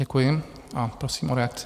Děkuji a prosím o reakci.